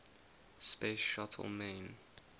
space shuttle main